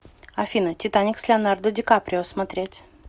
афина титаник с леанардо ди каприо смотреть